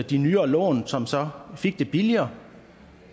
de nyere lån som så fik det billigere